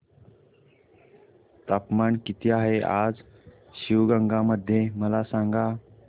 तापमान किती आहे आज शिवगंगा मध्ये मला सांगा